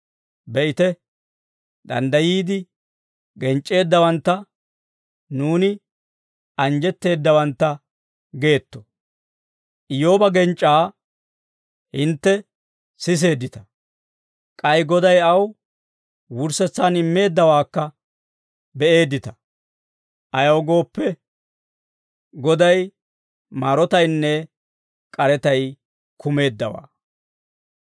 Be'ite, danddayiide genc'c'eeddawantta nuuni anjjetteeddawantta geetto. Iyyooba genc'c'aa hintte siseeddita; k'ay Goday aw wurssetsaan immeeddawaakka beeddita. Ayaw gooppe, Goday maarotaynne k'aretay kumeeddawaa.